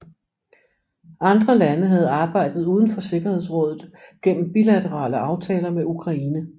Andre lande havde arbejdet uden for Sikkerhedsrådet gennem bilaterale aftaler med Ukraine